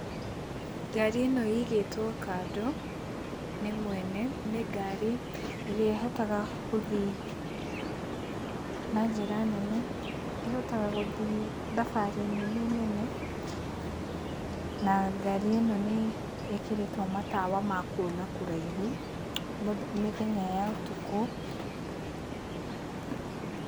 Ngari ĩno ĩigĩtwo kando nĩ mwene nĩ ngari ĩrĩa ĩhotaga gũthiĩ na njĩra nene. Ihotaga gũthiĩ thabarĩ nene nene na ngari ĩno nĩĩkĩrĩtwo matawa makwona kũraihu mĩthenya ya ũtukũ.